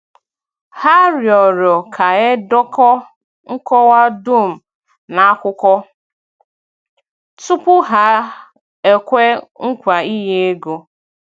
Hà rịọrọ ka e dekọọ nkọwa dum n’akwụkwọ tupu hà ekwe nkwa ị̀nye ego.